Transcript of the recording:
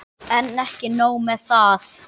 En ekki nóg með það.